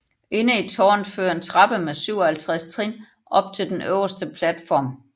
Inde i tårnet fører en trappe med 57 trin op til den øverste platform